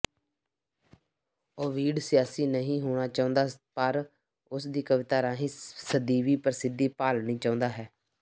Ovid ਸਿਆਸੀ ਨਹੀਂ ਹੋਣਾ ਚਾਹੁੰਦਾ ਪਰ ਉਸ ਦੀ ਕਵਿਤਾ ਰਾਹੀਂ ਸਦੀਵੀ ਪ੍ਰਸਿੱਧੀ ਭਾਲਣੀ ਚਾਹੁੰਦਾ ਹੈ